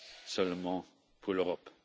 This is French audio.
seulement pour l'Europe.